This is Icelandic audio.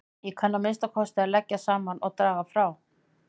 Ég kann að minnsta kosti að leggja saman og draga frá